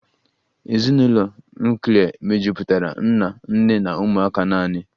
Ezinụlọ nuklia mejupụtara nna, nne na ụmụaka naanị